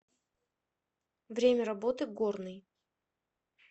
время работы горный